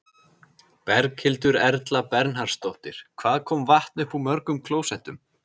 Berghildur Erla Bernharðsdóttir: Hvað kom vatn upp úr mörgum klósettum?